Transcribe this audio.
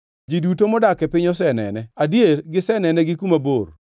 Ji duto modak e piny osenene adier gisenene gi kuma bor.